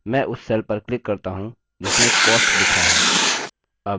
मैं उस cell पर click करता हूँ जिसमें cost लिखा है